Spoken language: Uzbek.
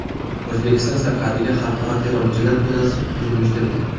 O‘zbekiston sarhadiga xalqaro terrorchilar to‘dasi hujum uyushtirdi.